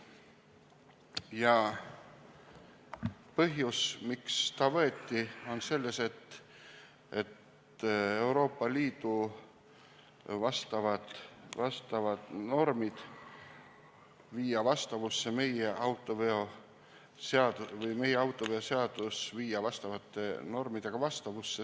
Ja põhjus, miks ta võeti, on selles, et Euroopa Liidu vastavad normid tuleb viia vastavusse meie autoveoseadusega või õigemini meie autoveoseadus tuleb viia EL-i normidega vastavusse.